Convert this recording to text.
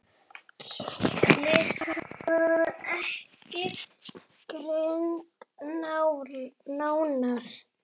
Klisjan var ekki greind nánar.